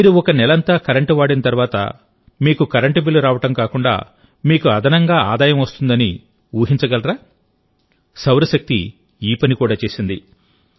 మీరు ఒక నెలంతా కరెంటు వాడిన తర్వాత మీకు కరెంటు బిల్లు రావడం కాకుండామీకు అదనంగా ఆదాయం వస్తుందని మీరు ఊహించగలరా సౌరశక్తి ఈ పని కూడా చేసింది